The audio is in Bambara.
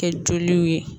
Kɛ joliw ye